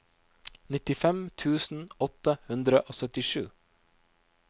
nittifem tusen åtte hundre og syttisju